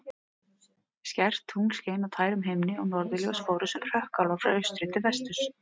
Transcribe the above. Skært tungl skein á tærum himni og norðurljós fóru sem hrökkálar frá austri til vesturs.